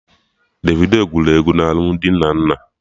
Davido gụrụ egwu na alụmdi Nnenna